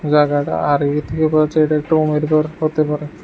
জায়গাটা আর এটা একটা গর হতে পারে।